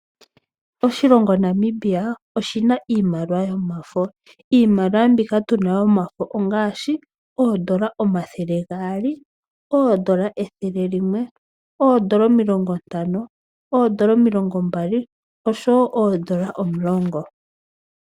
Oshilongo Namibia oshina iimaliwa yomafo. Iimaliwa mbika tu na yomafo ongaashi oondola omathele gaali, oondola ethele limwe, oondola omilongo Ntano, oondola omilongo Mbali osho wo oondola omulongo.